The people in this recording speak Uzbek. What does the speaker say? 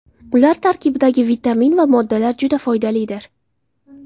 Ular tarkibidagi vitamin va moddalar juda foydalidir.